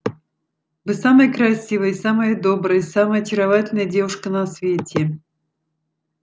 вы самая красивая и самая добрая и самая очаровательная девушка на свете